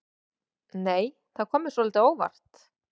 Nei! Það kom mér svolítið á óvart!